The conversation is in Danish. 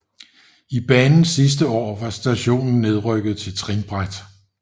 I banens sidste år var stationen nedrykket til trinbræt